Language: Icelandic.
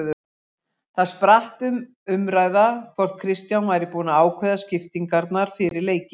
Þar spratt um umræða hvort Kristján væri búinn að ákveða skiptingarnar fyrir leiki.